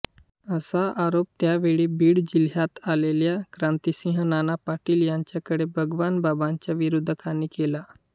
असा आरोप त्यावेळी बीड जिल्ह्यात आलेल्या क्रांतिसिंह नाना पाटील यांच्याकडे भगवानबाबांच्या विरोधकांनी केला